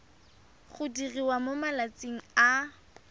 go diriwa mo malatsing a